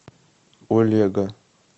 олега